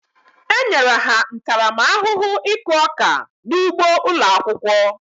E nyere ha ntaramahụhụ ịkụ ọka n'ụgbo ụlọ akwụkwọ.